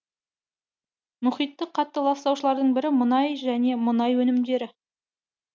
мұхитты қатты ластаушылардың бірі мұнай және мұнай өнімдері